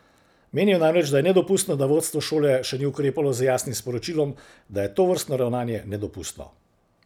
Menijo namreč, da je nedopustno, da vodstvo šole še ni ukrepalo z jasnim sporočilom, da je tovrstno ravnanje nedopustno.